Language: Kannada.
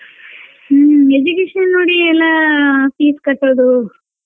ಹ್ಮ್ education ನೋಡಿ ಎಲ್ಲಾ fees ಕಟ್ಟುದು.